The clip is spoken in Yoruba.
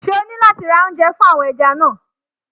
Ṣé o ní láti ra oúnjẹ fún àwọn ẹja náà?